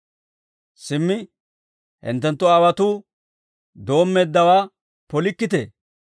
Simmi hinttenttu aawotuu doommeeddawaa polikkitee!